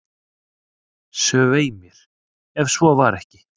"""Svei mér, ef svo var ekki."""